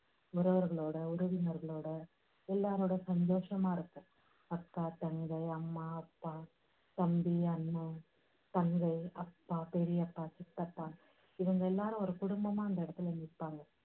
உறவுகளோட, உறவினர்களோட எல்லாரோட ரொம்ப சந்தோஷமா இருக்கும். அக்கா, தங்கை, அம்மா, அப்பா, தம்பி, அண்ணன், தங்கை, அப்பா, பெரியப்பா, சித்தப்பா, இவங்க எல்லாரும் ஒரு குடும்பமா அந்த இடத்துல நிப்பாங்க.